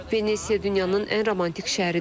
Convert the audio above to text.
Venesiya dünyanın ən romantik şəhəridir.